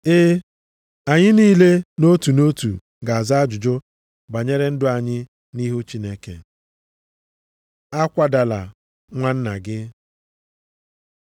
E, anyị niile nʼotu nʼotu ga-aza ajụjụ banyere ndụ anyị nʼihu Chineke. A kwadala nwa nna gị